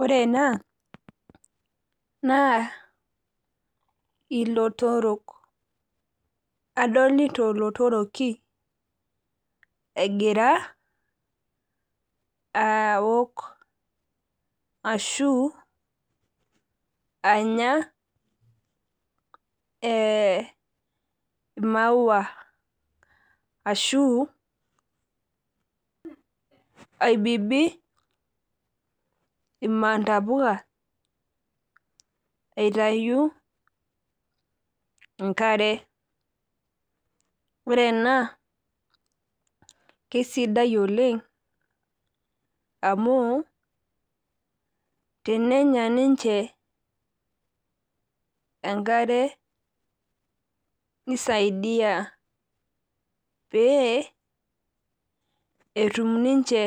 Ore ena naa ilotorok. Adolita oltoroki egira awok ashuu anya ee maua ashuu aibibi imantapuka aitayu enkare. Ore ena keisidai oleng amuu tenenya ninche enkare neisadia pee etum ninche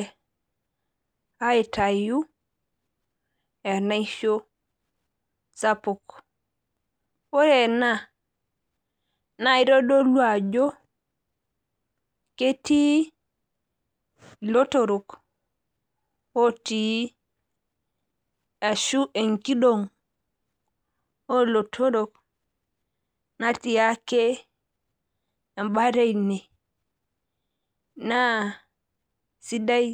aitayu enaisho sapuk. Ore ena naaeitodolu ajo ketii ilotorok otii ashuu enkidong olootorok natii ake embata eine naa sidai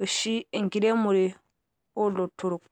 oshi enkiremore oolotorok